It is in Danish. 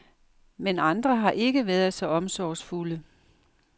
Men andre har ikke været så omsorgsfulde.